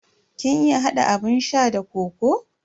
Kin iya hada abun sha da kokoo?